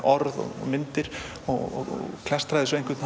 orð og myndir og klastra þessu á einhvern